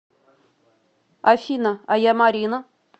афина а я марина